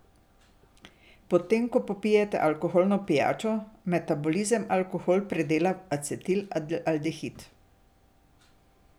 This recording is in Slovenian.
Potem, ko popijete alkoholno pijačo, metabolizem alkohol predela v acetilaldehid.